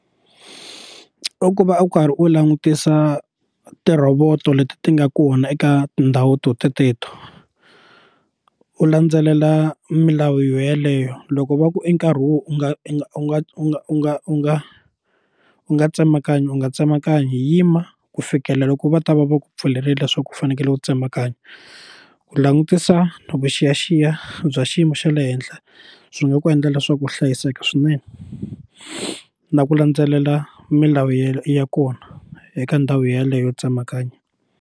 I ku va u karhi u langutisa ti rhovoto leti ti nga kona eka tindhawu to teteto u landzelela milawu yo yeleyo loko va ku i nkarhi u nga u nga u nga u nga u nga u nga u nga tsemakanya u nga tsemakanyi yima ku fikela loko va ta va va ku pfulerile leswaku u fanekele ku tsemakanya ku langutisa na vuxiyaxiya bya xiyimo xa le henhla swi nga ku endla leswaku u hlayiseka swinene na ku landzelela milawu ya kona eka ndhawu yeleyo yo tsemakanya.